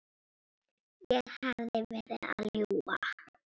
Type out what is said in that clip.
Ég hefði verið að ljúga.